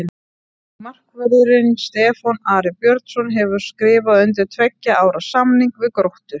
Markvörðurinn Stefán Ari Björnsson hefur skrifað undir tveggja ára samning við Gróttu.